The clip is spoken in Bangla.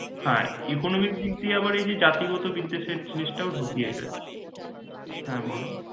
হ্যাঁ economy এর দিক দিয়ে আবার এই যে জাতিগত বিদ্যা শেঈ জিনিস টাও ঢূকে গেছে হ্যাঁ বল